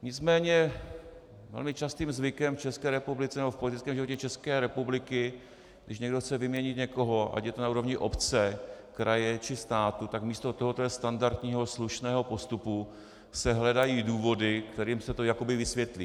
Nicméně velmi častým zvykem v České republice nebo v politickém životě České republiky, když někdo chce vyměnit někoho, ať je to na úrovni obce, kraje, či státu, tak místo tohoto standardního slušného postupu se hledají důvody, kterými se to jakoby vysvětlí.